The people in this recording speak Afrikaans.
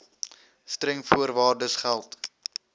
streng voorwaardes geld